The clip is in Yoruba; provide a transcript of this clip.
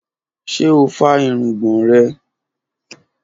Ṣe o fá irungbọn rẹ?